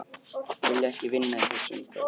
Vilja ekki vinna í þessu umhverfi